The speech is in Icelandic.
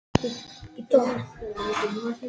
Sá fjórði kom aðvífandi og sagði eitthvað stundarhátt.